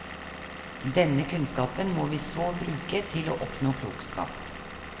Denne kunnskapen må vi så bruke til å oppnå klokskap.